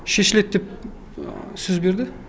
шешіледі деп сөз берді